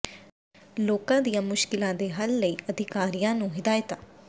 ਲੋਕਾਂ ਦੀਆਂ ਮੁਸ਼ਕਿਲਾਂ ਦੇ ਹੱਲ ਲਈ ਅਧਿਕਾਰੀਆਂ ਨੂੰ ਹਦਾਇਤਾਂ